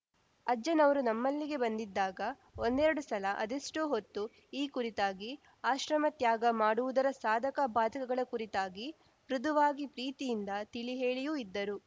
ಅಜ್ಜನವರು ನಮ್ಮಲ್ಲಿಗೆ ಬಂದಿದ್ದಾಗ ಒಂದೆರಡು ಸಲ ಅದೆಷ್ಟೋ ಹೊತ್ತು ಈ ಕುರಿತಾಗಿ ಆಶ್ರಮ ತ್ಯಾಗ ಮಾಡುವುದರ ಸಾಧಕ ಬಾಧಕಗಳ ಕುರಿತಾಗಿ ಮೃದುವಾಗಿ ಪ್ರೀತಿಯಿಂದ ತಿಳಿಹೇಳಿಯೂ ಇದ್ದರು